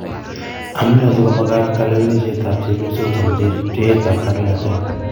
Amune siko magaat kalewanaiset ab chepyosok chemeche pcheet ab kandoinatet.